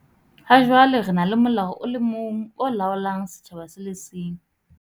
Ha jwale re na le molao o le mong o laolang setjhaba se le seng.